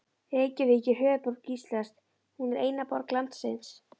Reykjavík er höfuðborg Íslands. Hún er eina borg landsins.